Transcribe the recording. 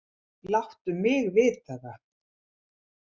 Láttu mig vita það.